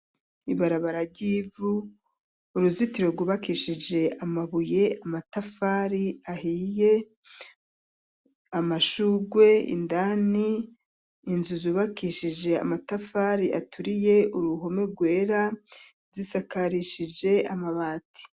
Ibarabara ry'ivu uruzitiro rwubakishije amabuye, amatafari ahiye amashugwe indani inzu zubakishije amatafari aturiye uruhome rwera zisakarishije amabati.